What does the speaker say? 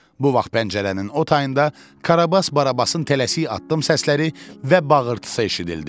Bu vaxt pəncərənin o tayında Karabas Barabasın tələsik addım səsləri və bağırtısı eşidildi.